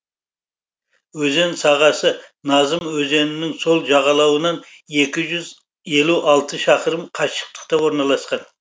өзен сағасы назым өзенінің сол жағалауынан екі жүз елу алты шақырым қашықтықта орналасқан